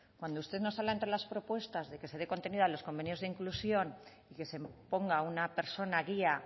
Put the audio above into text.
cuando usted nos habla entre las propuestas de que se dé contenido a los convenios de inclusión y que se ponga una persona guía